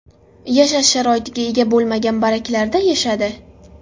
Yashash sharoitiga ega bo‘lmagan baraklarda yashadi.